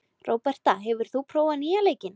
Róberta, hefur þú prófað nýja leikinn?